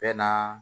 Bɛɛ naa